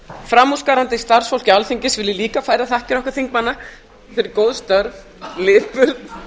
framúrskarandi starfsfólki alþingis vil ég líka færa þakkir okkar þingmanna fyrir góð störf lipurð